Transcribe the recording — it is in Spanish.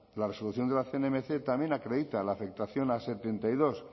la resolución de la cnmc también acredita la afectación a setenta y dos